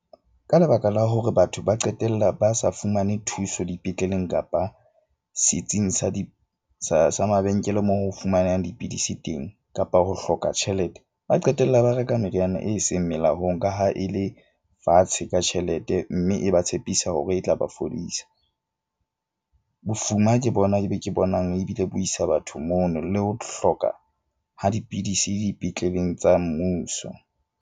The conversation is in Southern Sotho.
Ka lebaka la hore batho ba qetella ba sa fumane thuso dipetleleng kapa setsing sa sa mabenkele moo ho fumanang dipidisi teng kapa ho hloka tjhelete, ba qetella ba reka meriana e seng melaong ka ha e le fatshe ka tjhelete. Mme e ba tshepisa hore e tla ba fodisa. Bofuma ke bona e be ke bonang ebile bo isa batho mono le ho hloka ha dipidisi dipetleleng tsa mmuso.